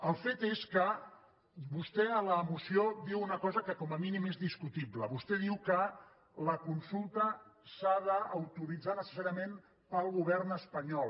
el fet és que vostè en la moció diu una cosa que com a mínim és discutible vostè diu que la consulta s’ha d’autoritzar necessàriament pel govern espanyol